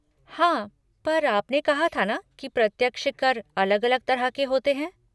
हाँ पर आपने कहा था ना कि प्रत्यक्ष कर अलग अलग तरह के होते है?